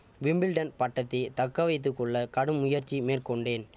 Wimbledon பட்டத்தை தக்க வைத்து கொள்ள கடும் முயற்சி மேற்கொண்டேன்